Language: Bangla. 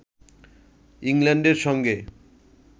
ইংল্যান্ডের সঙ্গে